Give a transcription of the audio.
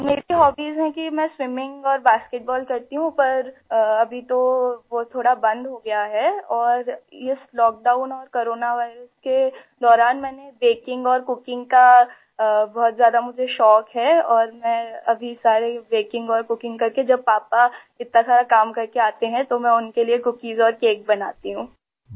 میری ہوبیز ہیں کہ میں سوئمنگ کرتی ہوں اورباسکٹ بال کھیلتی ہوں لیکن ابھی تو وہ تھوڑا بند ہو گیا ہے اور اس لاک ڈاؤن اور کورونا وارئس کے دوران میں نے بیکنگ اور کوکنگ کا مجھے بہت زیادہ شوق ہے اور میں ابھی سارے بیکنگ اور کوکنگ کرکے ، جب پاپا اتنا سارا کام کرکے آتے ہیں تو میں ان کے لئے کوکیز اور کیک بناتی ہوں